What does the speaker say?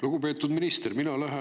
Lugupeetud minister!